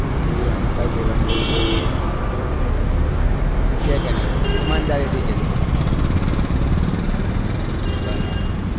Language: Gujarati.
મજા આવે છે કે નહી ઈમાનદારી થી કેજો બરાબર